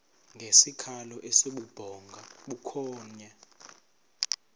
ngesikhalo esibubhonga bukhonya